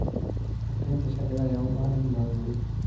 Adeegyada sharciga ayaa u baahan in la horumariyo.